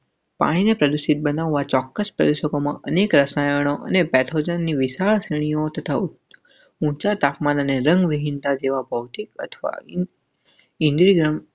પાહીને પ્રદર્શિત બનાવવા ચોક્કસ પ્રદેશોમાં અનેક રસાયણો અને પૅથોજનની વિશાળ શ્રેણીનો તથા ઊંચા તાપમાન અને રંગવિહીનતા જેવા પહોચી પચવા.